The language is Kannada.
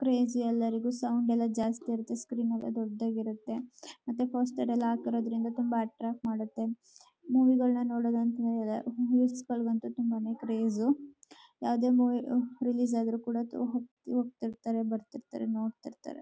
ಕ್ರೇಜ್ ಎಲ್ಲರಿಗೂ ಸಾಂಗ್ ಮೇಲೆ ಜಾಸ್ತಿ ಇರುತ್ತೆ. ಸ್ಕ್ರೀನ್ ಮೇಲೆ ದೊಡದಾಗಿ ಇರುತ್ತೆ ಮತ್ತೆ ಪೋಸ್ಟರ್ ಎಲ್ಲ ಹಾಕಿರೋದ್ರಿಂದ ತುಂಬಾ ಅಟ್ರಾಕ್ಟ್ ಮಾಡುತ್ತೆ ಮೂವಿ ಗಳ್ನ ನೋಡೋದು ಅಂತಂದ್ರೆ ರೇವಿವಸ್ ಗಳಿಗೂ ಅಂತೂ ತುಂಬಾನೇ ಕ್ರೇಜ್ ಯಾವದೇ ಮೂವಿ ರಿಲೀಸ್ ಆದ್ರೂ ಕೂಡ ಹೋಗತಿರ್ತಾರೆ ಬರ್ತಿರ್ತಾರೆ ನೋಡ್ತಿರ್ತಾರೆ.